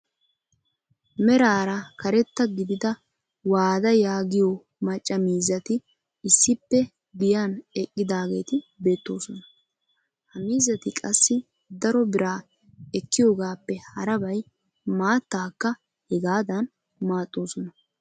Meraara karetta gidida waada yaagiyoo macca miizati issippe giyaan eqqidaageti beettoosona. ha miizzati qassi daro biraa ekkiyoogappe harabay maattaakka hegaadan maaxxoosona.